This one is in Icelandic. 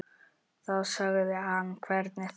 Þá sagði hann hvernig þá.